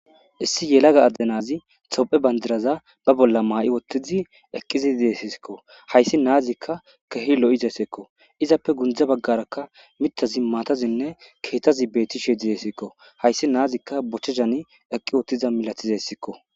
Issi yelaga addenazi tophe bandiraza ba bolla maa7i wottizi eqqiziidesisikko hayssi naazikka kehi lo7izesekko izappe gundza baggaraka mitazi maatazinne keetazi beetishe didesekko hayssi naazikka bochehani eqqi wottiza milatizessikko.